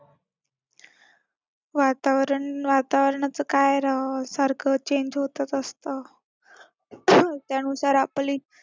वातावरण वातावरणाचं काय राव, सारखं change होतच असतं. त्यानुसार आपली